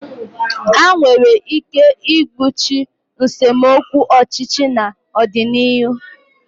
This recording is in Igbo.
Ha nwere ike igbochi nsemokwu ọchịchị n'ọdịnihu?